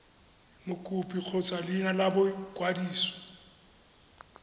mokopi kgotsa leina la boikwadiso